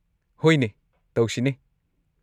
ꯍꯣꯏꯅꯦ, ꯇꯧꯁꯤꯅꯦ꯫